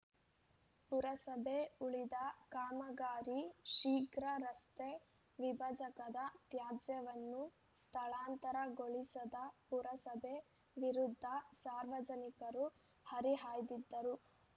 ಪುರಸಭೆ ಉಳಿದ ಕಾಮಗಾರಿ ಶೀಘ್ರ ರಸ್ತೆ ವಿಭಜಕದ ತ್ಯಾಜ್ಯವನ್ನು ಸ್ಥಳಾಂತರಗೊಳಿಸದಪುರಸಭೆ ವಿರುದ್ದ ಸಾರ್ವಜನಿಕರುಹರಿಹಾಯ್ದಿದ್ದರು